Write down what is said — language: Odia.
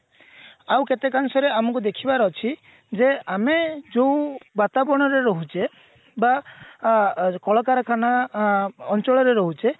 ଆଉ କେତେକାଂଶରେ ଆମକୁ ଦେଖିବାର ଅଛି ଯେ ଆମେ ଯୋଉ ବାତାବରଣରେ ରହୁଛେ ବା ଆ କଳକାରଖାନା ଅଞ୍ଚଳରେ ରହୁଛେ